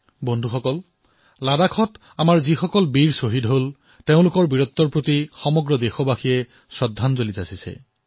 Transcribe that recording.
বন্ধুসকল লাডাখত আমাৰ যি বীৰ জোৱান শ্বহীদ হৈছে তেওঁলোকৰ শৌৰ্যক সমগ্ৰ দেশে প্ৰণিপাত কৰিছে শ্ৰদ্ধাঞ্জলি প্ৰদান কৰিছে